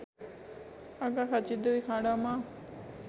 Arghakhanchi २ खाँडामा